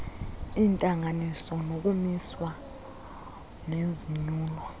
iintalnganiso zokumiswa nezonyulo